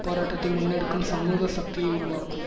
போராட்டத்தை முன்னெடுக்கும் சமூக சக்தியை உருவாக்கும்